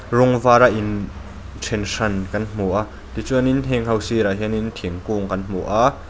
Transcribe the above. rawng var a inthen hran kan hmu a tichuan hengho sirah hian thingkung kan hmu a.